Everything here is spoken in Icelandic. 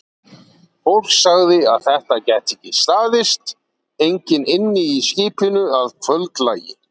Fólkið sagði að þetta gæti ekki staðist, enginn ynni í skipinu að kvöldlagi.